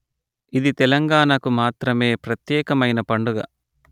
ఇది తెలంగాణకు మాత్రమే ప్రత్యేకమయిన పండుగ